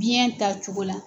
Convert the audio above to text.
Biɲɛ ta cogo la.